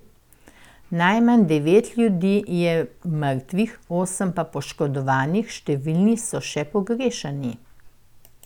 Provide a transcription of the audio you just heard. Najmanj devet ljudi je mrtvih, osem pa poškodovanih, številni so še pogrešani.